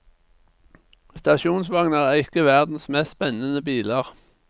Stasjonsvogner er ikke verdens mest spennende biler.